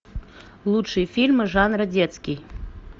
лучшие фильмы жанра детский